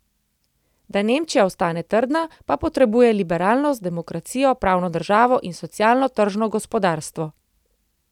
Da Nemčija ostane trdna, pa potrebuje liberalnost, demokracijo, pravno državo in socialno tržno gospodarstvo.